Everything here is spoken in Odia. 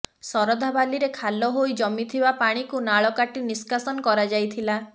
ଶରଧାବାଲିରେ ଖାଲ ହୋଇ ଜମିଥିବା ପାଣିକୁ ନାଳ କାଟି ନିଷ୍କାସନ କରଯାଇଥିଲା